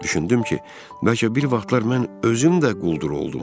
Düşündüm ki, bəlkə bir vaxtlar mən özüm də quldur oldum.